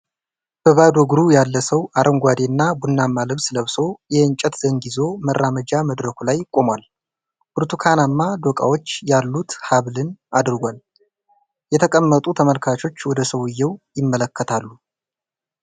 በባዶ እግሩ ያለ ሰው አረንጓዴ እና ቡናማ ልብስ ለብሶ የእንጨት ዘንግ ይዞ መራመጃ መድረኩ ላይ ቆሟል። ብርቱካንማ ዶቃዎች ያሉት ሃብልን አድርጓል። የተቀመጡ ተመልካቾች ወደ ሰዉየው ይመለከታሉ።